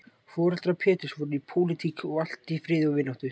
Foreldrar Péturs voru í pólitík og allt í friði og vináttu.